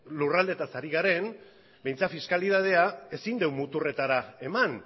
lurraldeetaz ari garen behintzat fiskalitatea ezin dugu muturretara eman